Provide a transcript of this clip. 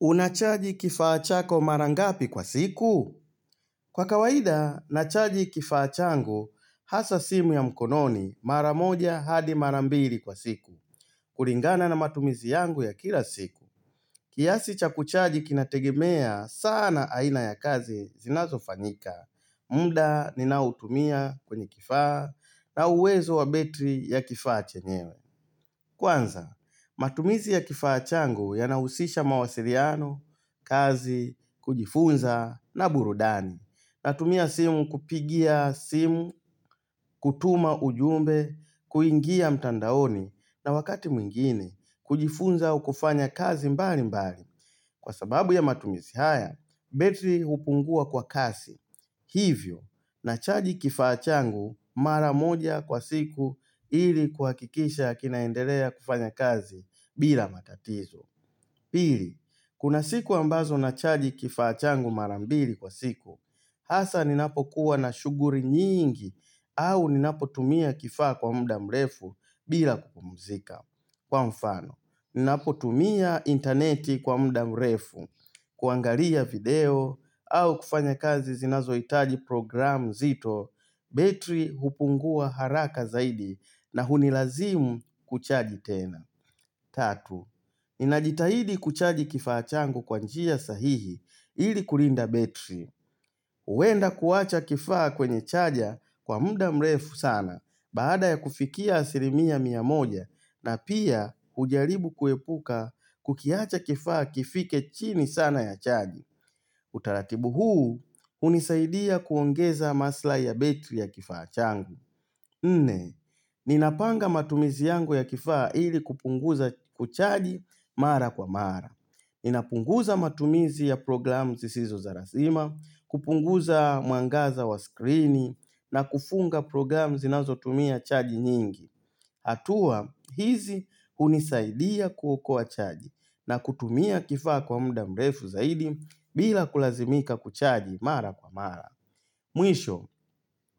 Unachaji kifaa chako marangapi kwa siku? Kwa kawaida, nachaji kifaa changu hasa simu ya mkononi mara moja hadi mara mbili kwa siku. Kuringana na matumizi yangu ya kila siku. Kiasi cha kuchaji kinategimea, sana aina ya kazi zinazo fanyika. Munda ninautumia kwenye kifaa na uwezo wa betri ya kifaa chenyewe. Kwanza, matumizi ya kifachangu ya nahusisha mawasiriano, kazi, kujifunza na burudani. Natumia simu kupigia simu, kutuma ujumbe, kuingia mtandaoni na wakati mwingine, kujifunza au kufanya kazi mbali mbali. Kwa sababu ya matumizi haya, betri hupungua kwa kasi. Hivyo, nachaji kifaa changu mara moja kwa siku ili kuakikisha kinaendelea kufanya kazi bila matatizo. Pili, kuna siku ambazo nachaji kifachangu mara mbili kwa siku, hasa ninapo kuwa na shuguri nyingi au ninapo tumia kifaa kwa mda mrefu bila kupumuzika. Kwa mfano, ninapotumia interneti kwa mda mrefu, kuangaria video au kufanya kazi zinazoitaji program nzito, betri hupungua haraka zaidi na hunilazimu kuchaji tena. Tatu, ninajitahidi kuchaji kifaa changu kwanjia sahihi ili kulinda betri. Huwenda kuwacha kifaa kwenye chaja kwa mda mrefu sana baada ya kufikia asirimia mia moja na pia hujaribu kuepuka kukiacha kifaa kifike chini sana ya chaji. Utaratibu huu, hunisaidia kuongeza masilahi ya betri ya kifaa changu. Nne, ninapanga matumizi yangu ya kifaa hili kupunguza kuchaji mara kwa mara. Ninapunguza matumizi ya program zisizo za razima, kupunguza mwangaza wa screen na kufunga program zinazo tumia chaji nyingi. Hatua, hizi hunisaidia kuokoa chaji na kutumia kifaa kwa mda mrefu zaidi bila kulazimika kuchaji mara kwa mara. Mwisho,